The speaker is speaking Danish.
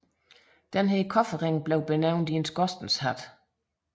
Denne kobberring blev benævnt en skorstenshat